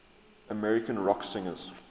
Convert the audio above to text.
american rock singers